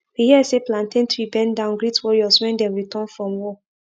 we hear say plantain tree bend down greet warriors when dem return from war